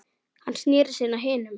Hann sneri sér að hinum.